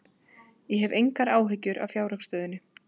Ég hef engar áhyggjur af fjárhagsstöðunni.